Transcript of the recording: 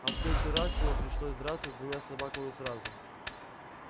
а в третий раз ему пришлось драться с двумя собаками сразу